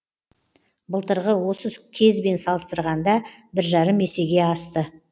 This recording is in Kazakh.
былтырғы осы кезбен салыстырғанда бір жарым есеге асты